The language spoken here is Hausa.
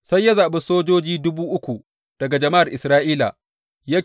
Sai ya zaɓi sojoji dubu uku daga jama’ar Isra’ila.